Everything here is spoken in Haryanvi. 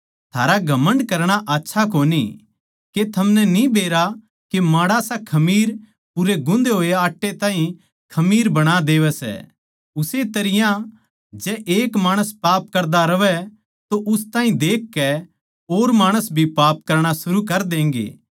थारा घमण्ड करणा आच्छा कोनी के थमनै न्ही बेरा के माड़ासा खमीर पूरे गुन्दे होए चुन ताहीं खमीर कर बणा देवै सै उस्से तरियां जै एक माणस पाप करदा रहवै तो उस ताहीं देखकै और माणस भी पाप करणा शुरू कर देंगे